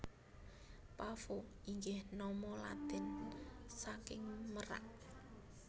Pavo inggih nama Latin saking merak